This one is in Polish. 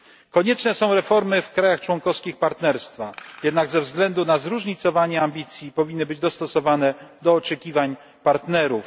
Konieczne są reformy w krajach członkowskich Partnerstwa, jednak ze względu na zróżnicowanie ambicji powinny być dostosowane do oczekiwań partnerów.